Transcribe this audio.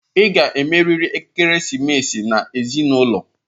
Ị ga-emerịrị ekeresimesi na ezinụlọ!